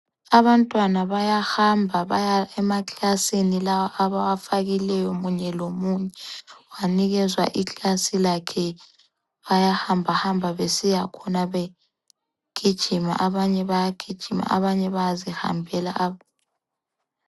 Abantwana bayahamba baya emaklasini lawa abawafakileyo munye lomunye wanikezwa iklasi lakhe bayahamba hamba besiyakhona begijima abanye bayagijina abanye bayazihambela